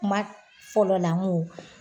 Kuma fɔlɔla n go